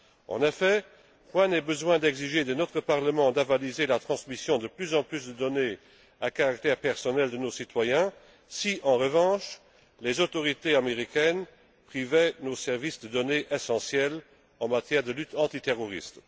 En effet, point n'est besoin d'exiger de notre Parlement d'avaliser la transmission de plus en plus de données à caractère personnel de nos citoyens si, en revanche, les autorités américaines privaient nos services de données essentielles en matière de lutte antiterroriste.